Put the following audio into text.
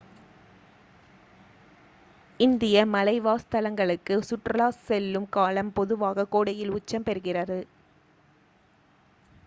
இந்திய மலைவாசஸ்தலங்களுக்கு சுற்றுலா செல்லும் காலம் பொதுவாக கோடையில் உச்சம் பெறுகிறது